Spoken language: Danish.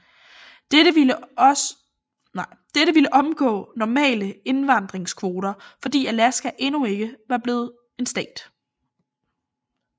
Dette ville omgå normale indvandingskvoter fordi Alaska endnu ikke var blevet en stat